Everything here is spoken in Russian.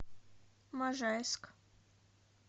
можайск